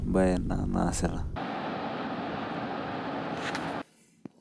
embae naasita